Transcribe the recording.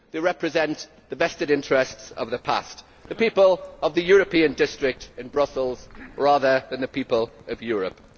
They represent the vested interests of the past the people of the European district in Brussels, rather than the people of Europe.